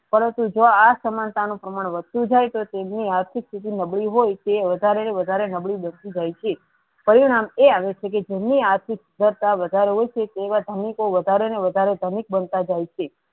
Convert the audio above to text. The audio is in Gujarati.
પરંતુ જો આસમાનતા નુ પ્રમાણ વધતુ જાય તો તેમની આર્થિક સ્થિતિ નબળી હોય તે વધારે ન વધારે નબળું બેસતુ જાય છે પરિણામ એ અનુસ્થીતી જેની આર્થીક કરતા વધારે હોય છે તે ધનિકો વધારે ન વધારે ધનિક બનતા જાય છે.